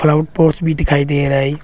Round pots भी दिखाई दे रहा है।